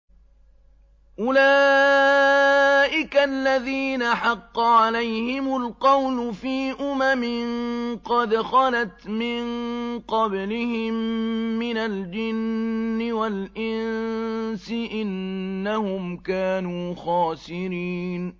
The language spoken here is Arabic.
أُولَٰئِكَ الَّذِينَ حَقَّ عَلَيْهِمُ الْقَوْلُ فِي أُمَمٍ قَدْ خَلَتْ مِن قَبْلِهِم مِّنَ الْجِنِّ وَالْإِنسِ ۖ إِنَّهُمْ كَانُوا خَاسِرِينَ